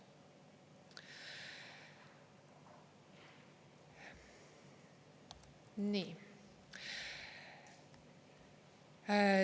Nii.